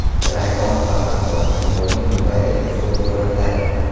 Rayhon va Farhod Alimovning Dubaydagi fotosuratlari.